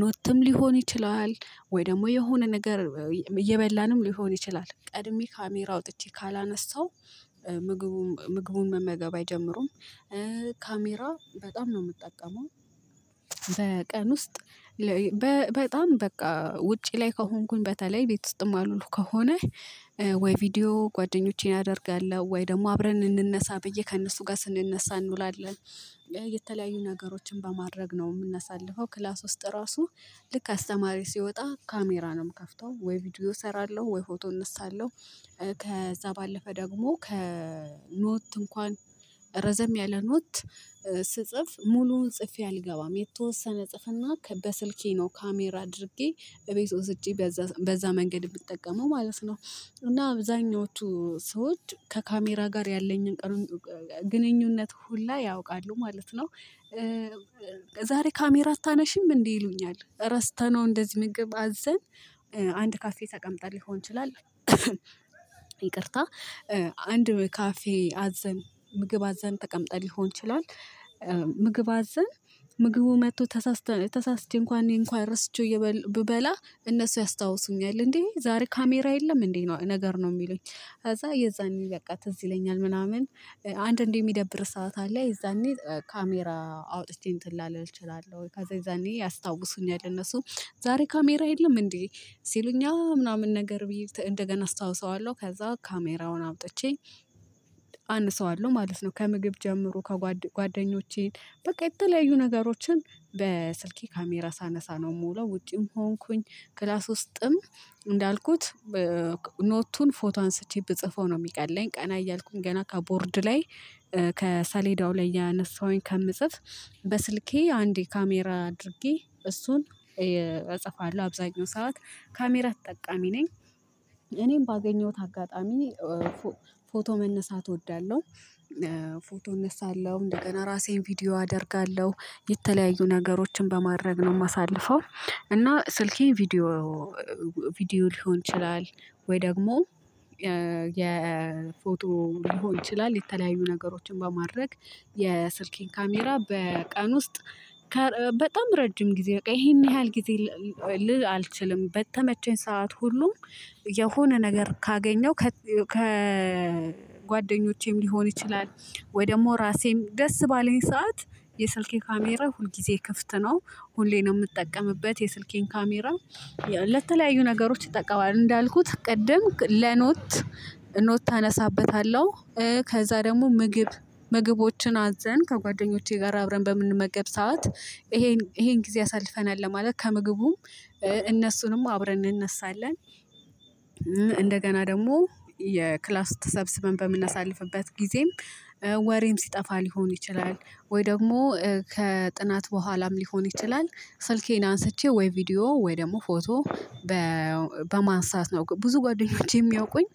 ኖትም ሊሆን ይችላል ወይ ደግሞ የሆነ ነገር እየበላንም ሊሆን ይችላል ቀድሜ ካሜራ አወጥቼ ካላነሳው ምግቡን ምግቡን መመገብ አይጀምሩም ካሜራ በጣም ነው የምጠቀመው። በቀን ውስጥ በጣም በቃ ውጪ ላይ ከሆንኩኝ በተለይ ቤት ውስጥ ማልውል ከሆነ ወይ ቪዲዮ ጓደኞቼን አደርጋለሁ ወይ ደግሞ አብረን እንነሳ ብዬ ከእነሱ ጋር ስንነሳ እንውላለን። የተለያዩ ነገሮችን በማድረግ ነው የምናሳልፈው ክላስ ውስጥ ራሱ ልክ አስተማሪ ሲወጣ ካሜራ ነው ምከፍተው ወይ ቪዲዮ እሰራለሁ ወይ ፎቶ እነሳለሁ። ከዛ ባለፈ ደግሞ ከኖት እንኳን ረዘም ያለ ኖት ስጽፍ ሙሉውን ጽፌ አልገባም የተወሰነ ጽፍና በስልኬ ነው ካሜራ አድርጌ እቤት ወስጄ በዛ በዛ መንገድ የምትጠቀመው ማለት ነው። እና አብዛኞቹ ሰዎች ከካሜራ ጋር ያለኝን ግንኙነት ሁላ ያውቃሉ ማለት ነው። ዛሬ ካሜራ አታነሺም እንዴ ይሉኛል ረስተነው እንደዚህ ምግብ አዘን አንድ ካፌ ተቀምጠን ሊሆን ይችላል። ይቅርታ አንድ ካፌ አዘን ምግብ አዘን ተቀምጠን ሊሆን ይችላል። ምግብ አዘን ምግቡ መጥቶ ተሳስቶ ተሳስቶ እንኳን እኔ እንኳን ረስቼው ብበላ እነሱ ያስታውሱኛል እንዴ ዛሬ ካሜራ የለም እንዴ ነው ነገር ነው የሚሉኝ። ከዛ የዛኔ በቃ ትዝ ይለኛል ምናምን አንዳንዴ የሚደብርህ ሰዓታ አለ አ የዛኔ ካሜራ አውጥቼ እንትን ላለል እችላለሁ ወይ ከዛ የዛኔ ያስታውሱኛል እነሱ ዛሬ ካሜራ የለም እንዴ ሲሉኝ አአ ምናምን ነገር ብዬ እንደገና አስታውሰዋለሁ ከዛ ካሜራውን አውጥቼ አነሳዋለሁ ማለት ነው። ከምግብ ጀምሮ ጓደኞቼን በቃ የተለያዩ ነገሮችን በስልኬ ካሜራ ሳነሳ ነው የምውለው ውጪም ከሆንኩኝ ክላስ ውስጥም እንዳልኩት ኖቱን ፎቶ አንስቼ ብጽፈው ነው የሚቀለኝ ቀና እያልኩኝ ገና ከቦርድ ላይ ከሰሌዳው ላይ እያነሳሁኝ ከምጽፍ በስልኬ አንዴ ካሜራ አድርጌ እሱን እጽፋለሁ አብዛኛው ሰዓት ካሜራ ተጠቃሚ ነኝ። እኔም ባገኘሁት አጋጣሚ ፎቶ መነሳት እወዳለሁ። ፎቶ እነሳለሁ እንደገና ራሴን ቪዲዮ አደርጋለሁ የተለያዩ ነገሮችን በማድረግ ነው የማሳልፈው። እና ስልኬ ቪዲዮ ቪዲዮ ሊሆን ይችላል ወይ ደግሞ የፎቶ ሊሆን ይችላል የተለያዩ ነገሮችን በማድረግ የስልኬን ካሜራ በቀን ውስጥ በጣም ረጅም ጊዜ በቃ ይሄን ያህል ጊዜ ልል አልችልም በተመቸኝ ሰዓት ሁሉ የሆነ ነገር ካገኘው ከ ከጓደኞቼም ሊሆን ይችላል ወይ ደግሞ ራሴን ደስ ባለኝ ሰዓት የስልኬ ካሜራ ሁልጊዜ ክፍት ነው ሁሌም ነው ምጠቀምበት የስልኬን ካሜራ። ለተለያዩ ነገሮች እጠቀማለው እንዳልኩት ቅድም ለኖት ኖት አነሳበታለሁ ከዛ ደግሞ ምግብ ምግቦችን አዘን ከጓደኞቼ ጋር አብረን በምንመገብ ሰዓት ይሄን ይሄን ጊዜ አሳልፈናል ለማለት ከምግቡም እነሱንም አብረን እንነሳለን። እንደገና ደግሞ የክላስ ተሰብስበን በምናሳልፍበት ጊዜም ወሬም ሲጠፋ ሊሆን ይችላል ወይ ደግሞ ከጥናት በኋላም ሊሆን ይችላል ስልኬን አንስቼ ወይ ቪዲዮ ወይ ደግሞ ፎቶ። በማንሳት ነው ብዙ ጓደኞቼ የሚያውቁኝ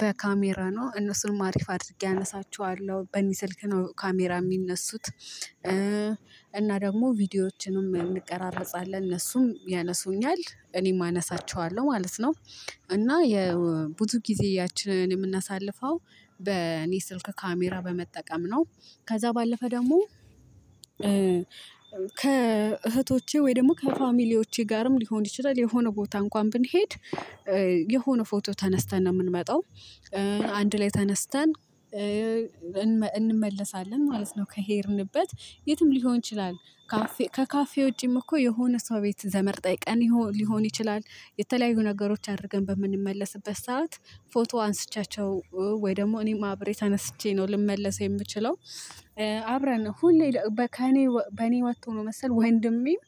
በካሜራ ነው እነሱንም አሪፍ አድርጌ አነሳቸዋለሁ በኔ ስልክ ነው ካሜራ የሚነሱት እና ደግሞ ቪዲዮዎችንም እንቀራረጻለን እነሱም ያነሱኛል እኔም አነሳቸዋለሁ ማለት ነው። እና የብዙ ጊዜያችንን የምናሳልፈው በእኔ ስልክ ካሜራ በመጠቀም ነው። ከዛ ባለፈ ደግሞ ከእህቶቼ ወይ ደግሞ ከፋሚሊዎቼ ጋርም ሊሆን ይችላል የሆነ ቦታ እንኳን ብንሄድ የሆነ ፎቶ ተነስተን ነው የምንመጣው። አንድ ላይ ተነስተን እንመለሳለን ማለት ነው። ከሄድንበት የትም ሊሆን ይችላል ከካፌ ውጪም እኮ የሆነ ሰው ቤት ዘመድ ጠይቀን ሊሆን ይችላል የተለያዩ ነገሮች አድርገን በምንመለስበት ሰዓት ፎቶ አንስቻቸው ወይ ደግሞ እኔም አብሬ ተነስቼ ነው ልመለስ የምችለው። አብረን ሁሌ ከእኔ በእኔ ወጥቶ ነው መሰል ወንድሜም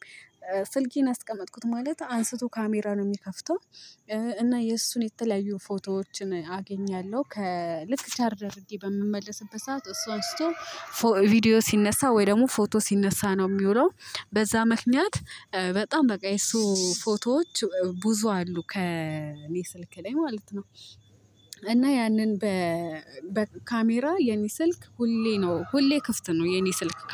ስልኬን አስቀመጥኩት ማለት አንስቶ ካሜራ ነው የሚከፍተው እና የእሱን የተለያዩ ፎቶዎችን አገኛለሁ ከ ልክ ቻርጅ አርጌ በምመለስበት ሰዓት እሱ አንስቶ ቪዲዮ ሲነሳ ወይ ደግሞ ፎቶ ሲነሳ ነው የሚውለው። በዛ ምክንያት በጣም በቃ የሱ ፎቶዎች ብዙ አሉ ከኔ ስልክ ላይ ማለት ነው። እና ያንን በካሜራ የኔ ስልክ ሁሌ ነው ሁሌ ክፍት ነው የኔ ስልክ